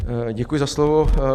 Děkuji za slovo.